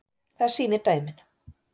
Það sýni dæmin.